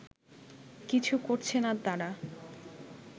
কিছু করছে না তারা